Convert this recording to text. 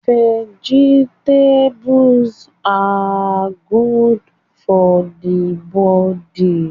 Vegetables are godo for the body